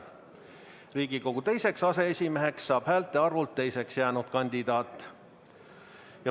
Riigikogu teiseks aseesimeheks saab häälte arvult teiseks jäänud kandidaat.